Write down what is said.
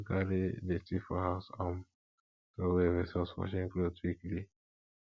to carry dirty for house um trowey vs washing cloth weekly